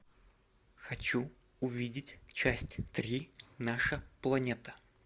хочу увидеть часть три наша планета